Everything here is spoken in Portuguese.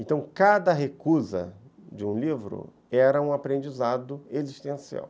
Então, cada recusa de um livro era um aprendizado existencial.